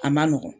A ma nɔgɔn